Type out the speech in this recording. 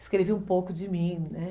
Escrevi um pouco de mim, né?